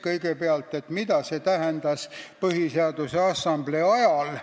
Kõigepealt, mida see tähendas Põhiseaduse Assamblee ajal.